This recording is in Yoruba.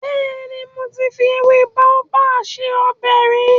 Bẹ́ẹ̀ni, mo ti fi ewé Baobab se ọbẹ̀ rí.